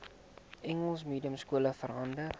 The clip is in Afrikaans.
engels mediumskole verander